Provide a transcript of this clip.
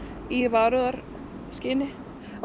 í varúðarskyni